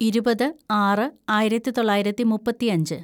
ഇരുപത് ആറ് ആയിരത്തിതൊള്ളായിരത്തി മുപ്പത്തിയഞ്ച്‌